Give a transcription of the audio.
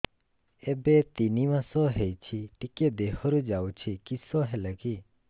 ଏବେ ତିନ୍ ମାସ ହେଇଛି ଟିକିଏ ଦିହରୁ ଯାଉଛି କିଶ ହେଲାକି